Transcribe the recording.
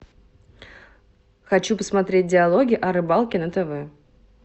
хочу посмотреть диалоги о рыбалке на тв